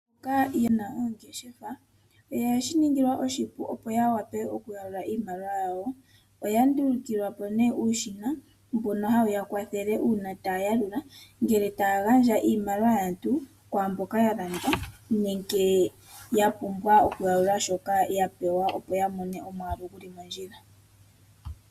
Mboka ye na oongeshefa, oye shi ningilwa oshipu opo ya wape oku yalula iimaliwa yawo. Oya nduluka po uushina mbono hawu ya kwathele uuna taya yalula, ngele taya gandja iimaliwa yaantu kwaamboka ya landa nenge ya pumbwa oku yalula shoka ya pewa opo ya mone omayamukulo geli mondjila.